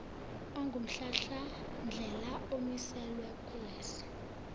ongumhlahlandlela omiselwe kuleso